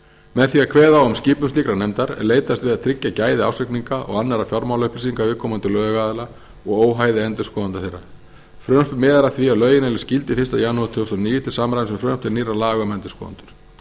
með því að kveða á um skipun slíkrar nefndar er leitast við að tryggja gæði ársreikninga og annarra fjármálaupplýsinga viðkomandi lögaðila og óhæði endurskoðenda þeirra frumvarpið miðar að því að lögin öðlist gildi fyrsta janúar tvö þúsund og níu til samræmis við frumvarp til nýrra laga um endurskoðendur